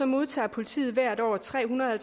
modtager politiet hvert år tre hundrede og